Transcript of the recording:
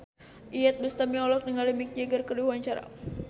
Iyeth Bustami olohok ningali Mick Jagger keur diwawancara